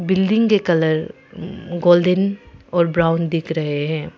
Building के colour golden और brown दिख रहे हैं।